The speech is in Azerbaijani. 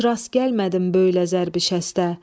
Heç rast gəlmədim böylə zərbi şəstə.